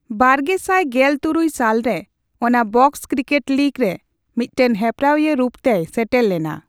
ᱵᱟᱨᱜᱮᱥᱟᱭ ᱜᱮᱞ ᱛᱩᱨᱩᱭ ᱥᱟᱞ ᱨᱮ, ᱚᱱᱟ ᱵᱚᱠᱥ ᱠᱨᱤᱠᱮᱴ ᱞᱤᱜᱽ ᱨᱮ ᱢᱤᱫᱴᱟᱝ ᱦᱮᱯᱨᱟᱣᱤᱭᱟᱹ ᱨᱩᱯ ᱛᱮᱭ ᱥᱮᱴᱮᱨ ᱞᱮᱱᱟ ᱾